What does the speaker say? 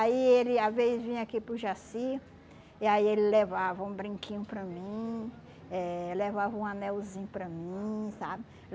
Aí ele, às vezes, vinha aqui para o Jaci, e aí ele levava um brinquinho para mim, eh levava um anelzinho para mim, sabe?